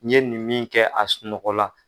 N ye nin min kɛ a sunɔgɔ la.